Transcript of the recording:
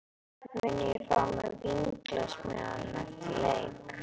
Mun ég fá mér vínglas með honum eftir leik?